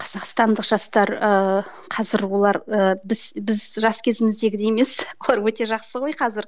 қазақстандық жастар ыыы қазір олар ыыы біз біз жас кезіміздегідей емес олар өте жақсы ғой қазір